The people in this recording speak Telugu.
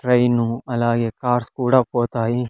ట్రైన్ అలాగే కార్స్ కూడా పోతాయి.